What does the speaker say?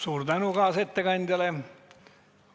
Suur tänu kaasettekandjale!